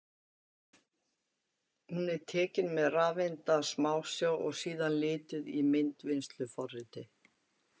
Hún er tekin með rafeindasmásjá og síðan lituð í myndvinnsluforriti.